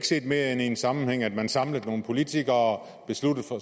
set mere i en sammenhæng end at man samlede nogle politikere besluttede